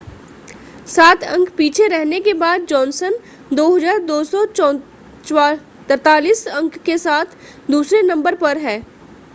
सात अंक पीछे रहने के बाद जॉनसन 2,243 अंक के साथ दूसरे नंबर पर है